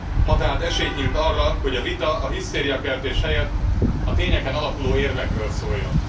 Ma tehát esély nyílt arra, hogy a vita, a hisztériakeltés helyett a tényeken alapuló érvekről szóljon.